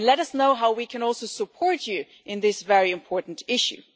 Let us know how we can also support you in this very important issue.